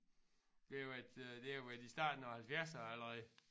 Det har været øh det har været i starten af halvfjerdserne allerede